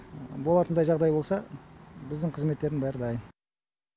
болатындай жағдай болса біздің қызметтердің бәрі дайын